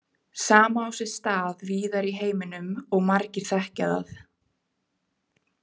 Sama á sér stað víðar í heiminum og margir þekkja það.